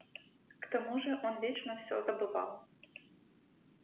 к тому же он вечно все забывал